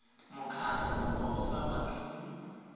mokgatlho o o sa batleng